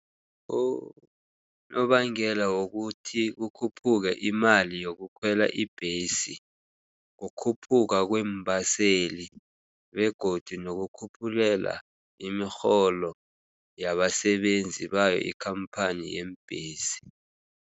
Unobangela wokuthi kukhuphuke imali yokukhwela ibhesi, kukhuphuka kweembaseli begodu nokukhuphulela imirholo yabasebenzi bayo ikhamphani yeembhesi.